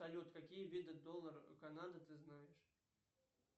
салют какие виды долларов канады ты знаешь